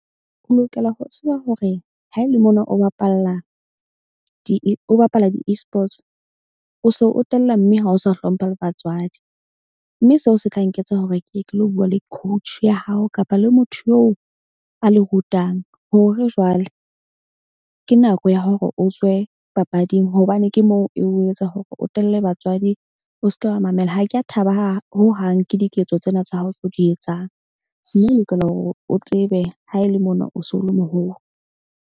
O lokela ho tseba hore ha ele mona o bapalla o bapala di Esports, o se o tella mme ha o sa hlompha le batswadi. Mme seo se tla nketsa hore ke ye ke lo bua le coach ya hao kapa le motho a le rutang. Hore jwale ke nako ya hore o tswe papading. Hobane ke moo e o etsa hore o telele batswadi. O seke wa mamela. Ha ke ya thaba hohang ke diketso tsena tsa hao tseo di etsang. Mme o lokela hore o tsebe ha ele mona, o so le moholo.